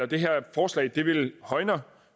det vil højne